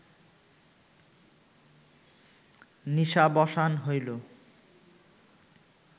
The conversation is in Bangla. নিশাবসান হইল